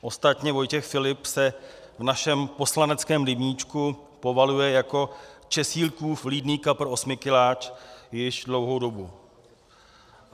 Ostatně Vojtěch Filip se v našem poslaneckém rybníčku povaluje jako Česílkův vlídný kapr Osmikiláč již dlouhou dobu.